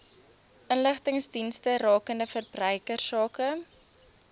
inligtingsdienste rakende verbruikersake